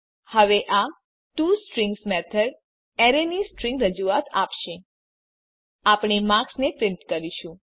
હવે આ to string method array ની સ્ટ્રીંગ રજૂઆત આપશે આપણે માર્ક્સ ને પ્રીંટ કરીશું